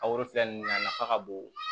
A wari filɛ nin na nafa ka bon